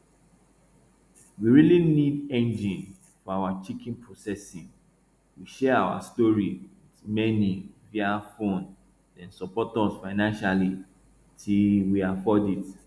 we really need um engine for our chicken processing we share our story with many via phone dem support us financially till we afford it